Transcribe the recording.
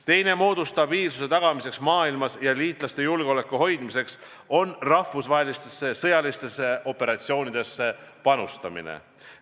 Teine moodus stabiilsuse tagamiseks maailmas ja liitlaste julgeoleku hoidmiseks on rahvusvahelistesse sõjalistesse operatsioonidesse panustamine.